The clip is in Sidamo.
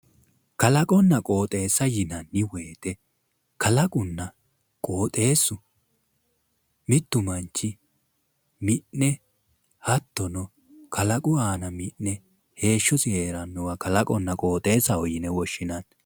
Kalaqonna qoixeessa yinanni woyiite kalaqunna qooxeessu mittu manchi mi'ne hattono kalaqu aana mi'ne heeshshosi heerannowa kalaqonna qooxeessaho yine woshshinanni.